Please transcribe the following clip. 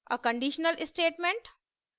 a conditional statement